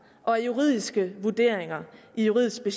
og af juridiske vurderinger i juridiske